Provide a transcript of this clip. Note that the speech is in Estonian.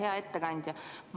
Hea ettekandja!